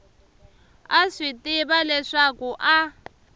a swi tiva leswaku a